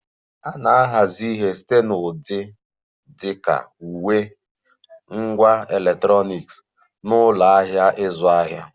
A na-ahazi ihe site na ụdị dị ka uwe, ngwá electronic na ụlọ ahịa ịzụ ahịa